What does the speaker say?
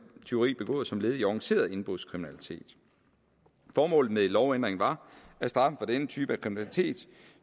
tyveri begået som led i organiseret indbrudskriminalitet formålet med lovændringen var at straffen for den type af kriminalitet